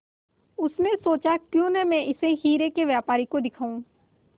उसने सोचा क्यों न मैं इसे हीरे के व्यापारी को दिखाऊं